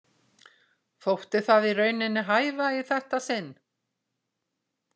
Þótti það í rauninni hæfa í þetta sinn.